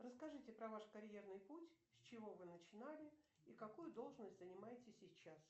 расскажите про ваш карьерный путь с чего вы начинали и какую должность занимаете сейчас